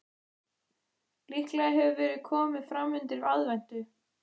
Líklega hefur verið komið framundir aðventu.